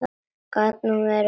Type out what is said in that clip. Gat nú verið!